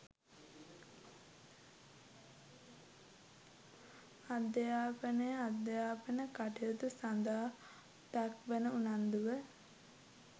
අධ්‍යාපනය අධ්‍යාපන කටයුතු සඳහා දක්වන උනන්දුව